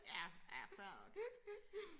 Ja ja fair nok